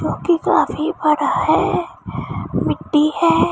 जो कि काफी बड़ा है मिट्टी है।